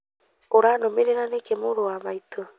ũranũmĩrĩra nĩkĩ mũrũwa maitũ